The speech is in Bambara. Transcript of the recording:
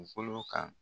Dugukolo kan